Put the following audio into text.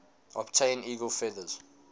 obtain eagle feathers